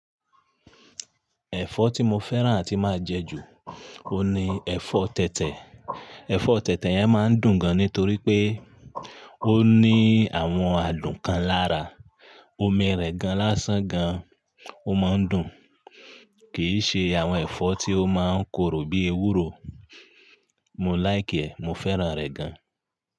Ẹ̀fọ́ tí mo fẹ́ràn atí máa jẹ ju, oun ni ẹ̀fọ́ tẹ̀tẹ̀. Ẹfọ tẹ̀tẹ̀ yẹn máa ń dùn gan nítorí pé ó ní àwọn adùn kan lára, omi rẹ̀ gan lásán gan, ó máa ń dùn, kì í ṣe àwọn ẹ̀fọ́ tí ó máa ń korò bí ewúro, mo like ẹ, mo fẹ́ràn rẹ̀ gan.